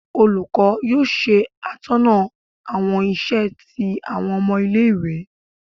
olukọ yóò se atóná awọn isè ti awọn omo ile ìwé